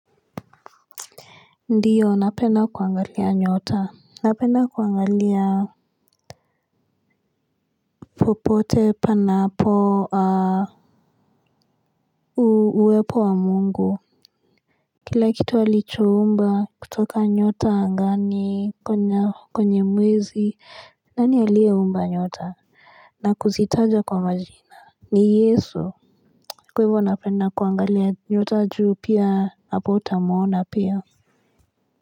Ndiyo napenda kuangalia nyota napenda kuangalia popote panapo uwepo wa Mungu kila kitu alicho umba kutoka nyota angani kwenye mwezi nani aliyeumba nyota na kuzitaja kwa majina ni Yesu kwa hivo napenda kuangalia nyota juu pia hapo utamuona pia.